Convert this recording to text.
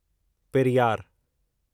Periyar